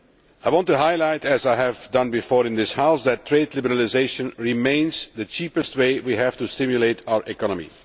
I want to highlight, as I have done before in this House, that trade liberalisation remains the cheapest way we have to stimulate our economy.